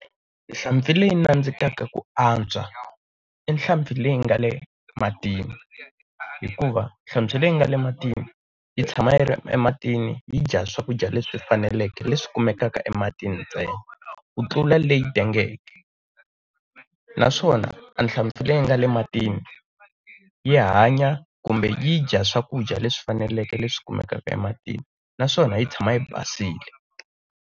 Hlampfi leyi nandzikaka ku antswa, i hlampfi leyi nga le matini hikuva hlampfi leyi nga le matini, yi tshama yi ri ematini yi dya swakudya leswi faneleke leswi kumekaka ematini ntsena, ku tlula leyi tengeke naswona a hlampfi leyi nga le matini, yi hanya kumbe yi dya swakudya leswi faneleke leswi kumekaka ematini naswona yi tshama yi basile.